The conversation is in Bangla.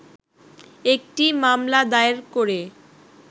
একটি মামলা দায়ের করে